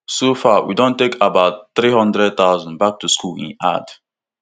so far we don take about three hundred thousand back to school e add